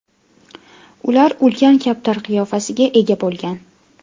Ular ulkan kaptar qiyofasiga ega bo‘lgan.